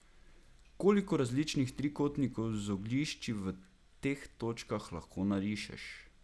Koliko različnih trikotnikov z oglišči v teh točkah lahko narišeš?